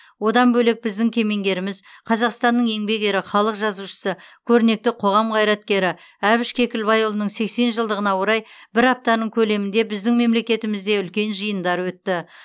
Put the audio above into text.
одан бөлек біздің кемеңгеріміз қазақстанның еңбек ері халық жазушысы көрнекті қоғам қайраткері әбіш кекілбайұлының сексен жылдығына орай бір аптаның көлемінде біздің мемлекетімізде үлкен жиындар өтті